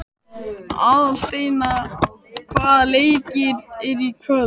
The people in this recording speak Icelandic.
Aðalsteina, hvaða leikir eru í kvöld?